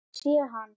Ég sé hann